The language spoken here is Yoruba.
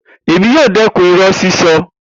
Emi yoo dẹkun irọ sisọ.